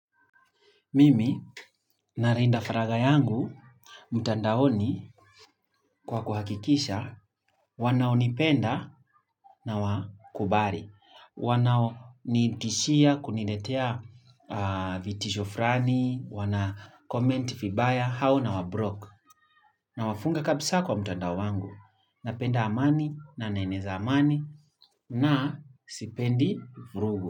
Mimi nalinda faragha yangu, mtandaoni kwa kuhakikisha, wanaonipenda na wakubali. Wanao nitishia kuniletea vitisho fulani, wana comment vibaya, hao na wablock. Nawafunga kabisa kwa mtandao wangu, napenda amani, na naneza amani, na sipendi virugu.